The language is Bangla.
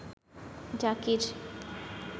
জাকির